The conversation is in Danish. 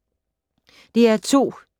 DR2